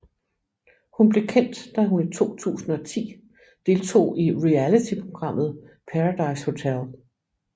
Hun blev kendt da hun i 2010 deltog i realityprogrammet Paradise Hotel